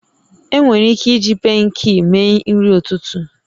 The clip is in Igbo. Enwere ike iji pankeekimee nri ụtụtụ